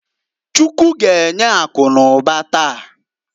Chukwu g'enye akụ n'ụba taa.